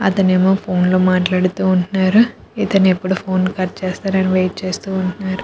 అతనేమో ఫోన్ లో మాట్లాడుతూ ఉంటున్నారు ఇతను ఎప్పుడు ఫోన్ కట్ చేస్తారా అని వెయిట్ చేస్తూ ఉంటున్నారు.